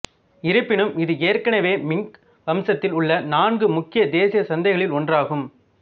இருப்பினும் இது ஏற்கனவே மிங் வம்சத்தில் உள்ள நான்கு முக்கிய தேசிய சந்தைகளில் ஒன்றாகும்